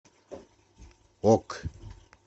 ок